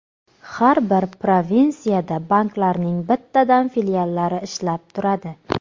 Har bir provinsiyada banklarning bittadan filiallari ishlab turadi.